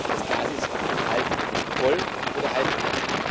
Das Glas ist halb voll oder halb leer.